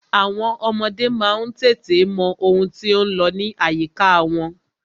Àwọn ọmọdé má ń tètè mọ ohun tí ó ń lọ ní àyíká wọn.